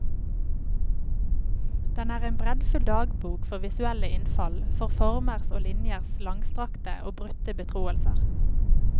Den er en breddfull dagbok for visuelle innfall, for formers og linjers langstrakte og brutte betroelser.